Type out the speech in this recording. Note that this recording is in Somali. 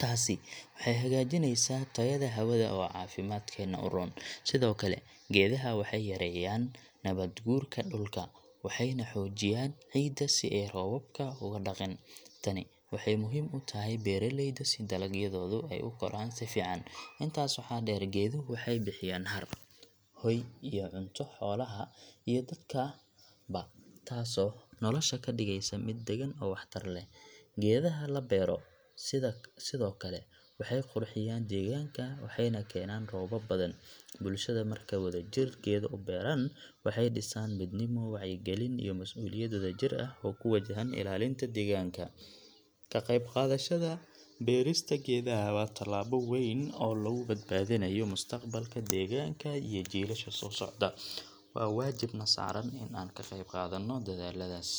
Taasi waxay hagaajinaysaa tayada hawada oo caafimaadkeena u roon. Sidoo kale, geedaha waxay yareeyaan nabaad guurka dhulka, waxayna xoojiyaan ciidda si ay roobabka ugu dhaqin. Tani waxay muhiim u tahay beeraleyda si dalagyadoodu ay u koraan si fiican. Intaas waxaa dheer, geeduhu waxay bixiyaan hadh, hoy iyo cunto xoolaha iyo dadka ba, taasoo nolosha ka dhigaysa mid deggan oo waxtar leh. Geedaha la beero sidoo kale waxay qurxiyaan deegaanka, waxayna keenaan roob badan. Bulshada markay wadajir geedo u beeraan, waxay dhisaan midnimo, wacyigelin iyo mas’uuliyad wadajir ah oo ku wajahan ilaalinta deegaanka. Ka qaybqaadashada beerista geedaha waa tallaabo weyn oo lagu badbaadinayo mustaqbalka deegaanka iyo jiilasha soo socda. Waa waajib na saaran in aan ka qaybqaadano dadaalladaas.